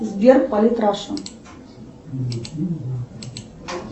сбер полит раша